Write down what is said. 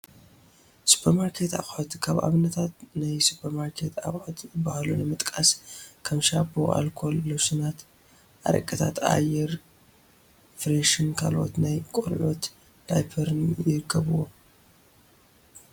ሱፐርማርኬት ኣቑሑት፡- ካብ ኣብነታት ናይ ሱፐርማርኬት ኣቑሑት ዝባሃሉ ንምጥቃስ ከም ሻምፖ፣ ኣልኮል፣ ሎሽናት፣ ኣረቅታት፣ ኣየር ፍሬሽን ካልኦት ናይ ቆልዑት ዳይፐራትን ይርከብዎም፡፡